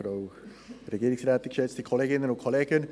Für uns ist die Sache inhaltlich klar: